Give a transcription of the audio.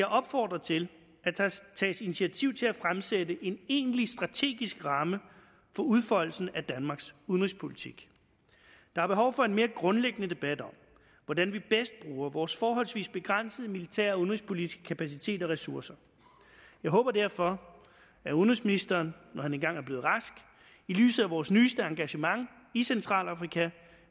opfordre til at der tages initiativ til at fremsætte en egentlig strategisk ramme for udfoldelsen af danmarks udenrigspolitik der er behov for en mere grundlæggende debat om hvordan vi bedst bruger vores forholdsvis begrænsede militære og udenrigspolitiske kapacitet og ressourcer jeg håber derfor at udenrigsministeren når han engang er blevet rask i lyset af vores nyeste engagement i centralafrika